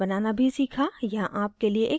यहाँ आपके लिए एक नियत कार्य है